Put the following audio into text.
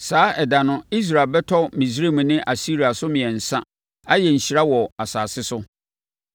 Saa ɛda no Israel bɛtɔ Misraim ne Asiria so mmiɛnsa, ayɛ nhyira wɔ asase so.